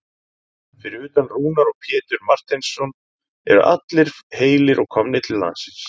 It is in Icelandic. Fyrir utan Rúnar og Pétur Marteinsson eru allir heilir og komnir til landsins?